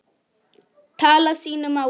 tala sínu máli.